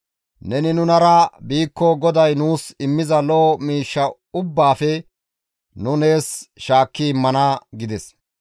Neni nunara biikko GODAY nuus immiza lo7o miishsha ubbaafe nu nees shaakki immana» gides.